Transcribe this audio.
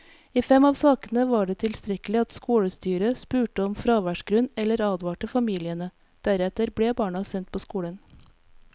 I fem av sakene var det tilstrekkelig at skolestyret spurte om fraværsgrunn eller advarte familiene, deretter ble barna sendt på skolen.